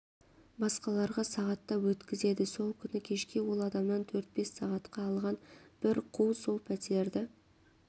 басқаларға сағаттап өткізеді сол күні кешке ол адамнан төрт-бес сағатқа алған бір қу сол пәтерді